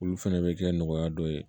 Olu fɛnɛ bɛ kɛ nɔgɔya dɔ ye